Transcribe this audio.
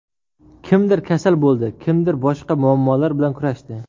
Kimdir kasal bo‘ldi, kimdir boshqa muammolar bilan kurashdi.